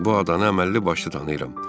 Bu adanı əməlli başlı tanıyıram.